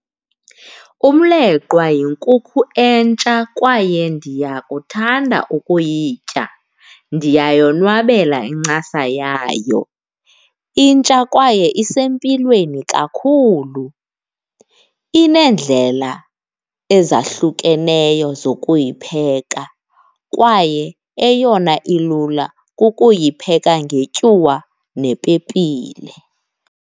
Umleqwa yinkukhu entsha kwaye ndiyakuthanda ukuyitya, ndiyayonwabela incasa yayo. Intsha kwaye isempilweni kakhulu, ineendlela ezahlukeneyo zokuyipheka kwaye eyona ilula kukuyipheka ngetyuwa nepepile.